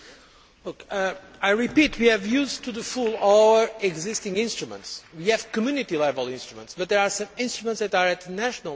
I repeat that we have used to the full our existing instruments. We have Community level instruments, but there are some instruments that are national level instruments.